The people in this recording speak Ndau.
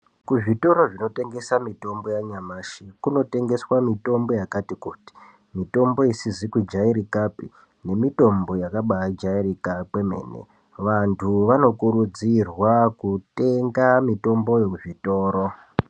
Kuzvitoro zvinotengesa mitombo yanyamashi kunotengeswa mitombo yakati kuti. Mitombo isizi kujairikapi nemitombo yakabaijairika kwemene. Vantu vanokurudzirwa kutenga mitomboyo kuzvitoro.